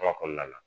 Kuma kɔnɔna la